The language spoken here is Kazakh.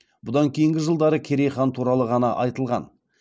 бұдан кейінгі жылдары керей хан туралы ғана айтылған